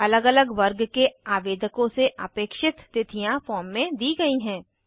अलग अलग वर्ग के आवेदकों से अपेक्षित तिथियाँ फॉर्म में दी गयी हैं